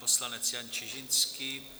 Poslanec Jan Čižinský.